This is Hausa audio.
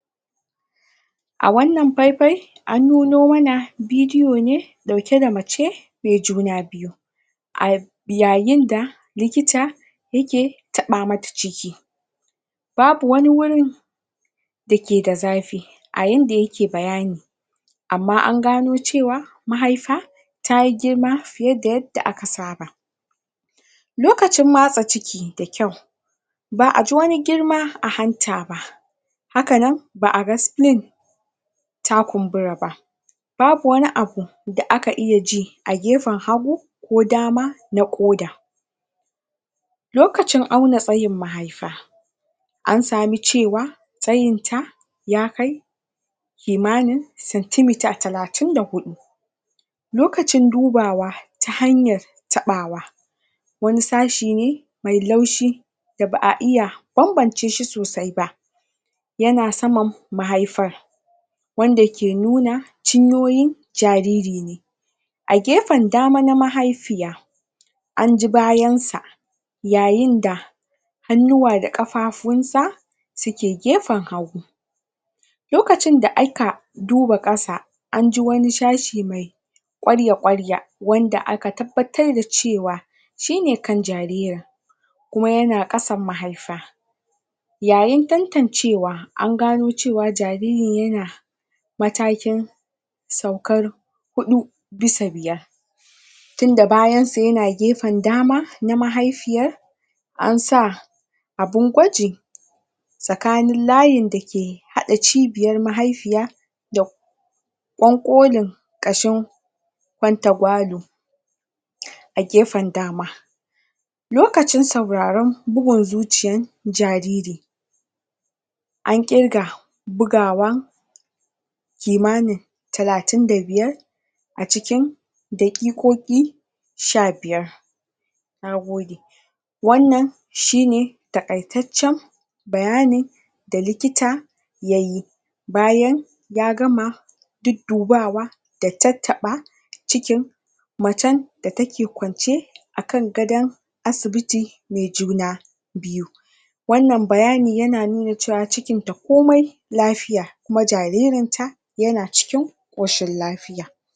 A wannan faifai an nuno mana bidiyo ne ɗauke da mace mai juna biyu. a yayin da likita yake taɓa mata ciki babu wani wuri dake da zafi a yanda yake bayani amma an gano cewa mahifa ta yi girma fiye da yadda aka saba. Lokacin matsa ciki ba aji wani girma a hanta ba. haka nan ba a ga spling ta kumbura ba babu wani abu da aka iya ji. a gefen hagu ko dama na ƙoda. lokacin auna tsayin mahaifa an samu cewa tsayinta ya kai kimanin cent meter talatin da huɗu. lokacin dubawa ta hanyar taɓawa, wani sashe ne mai laushi da ba a iya bambance shi sosai ba. yana saman mahaifar wanda ke nuna cinyoyin jariri ne. a gefen dama na mahaifiyaa an ji bayansa yayin da hannuwa da ƙafafunsa suke gefen hagu. lokacin da aka duba ƙasa an ji wani sashe mai ƙwarya-ƙwarya wanda aka tabbatar da cewa shi ne kan jaririn. kuma yana ƙasan mahaifa. yayintantancewa an gano cewa jaririn yana matakin saukar huɗu bisa biyar. tunda bayansa yan gefen dama na mahaifiyar an sa abun gwaji. tsakanin layin dake haɗa cibiyar haifiya da ƙwanƙwolin ƙashin kwantagwalo a gefen dama. lokacin sauraron bugun zuciyar jariri. an ƙirga bugawa kimanintalatin da biyar a cikin daƙiƙoƙi sha biyar. na gode. wannan shi ne taƙaitaccen bayanin da likita ya yi bayan ya gama duddubawa da tattaɓa cikin macen da take kwance a kan gadon asibiti mai juna biyu. wannan bayanin yana nuna cewa cikinta komai lafiya kuma jaririnta yana cikin ƙosahin lafiya.